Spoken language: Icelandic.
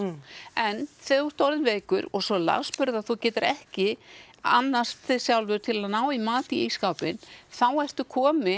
en þegar þú ert orðinn veikur og svo lasburða að þú getur ekki annast þig sjálfur til að ná í mat í ísskápinn þá ertu kominn